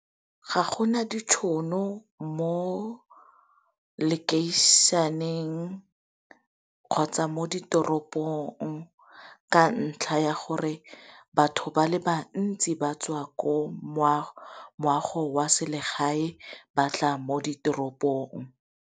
Ga gona ditšhono mo location-eng kgotsa mo ditoropong ka ntlha ya gore batho ba le bantsi ba tswa ko moago wa selegae ba tla mo ditoropong.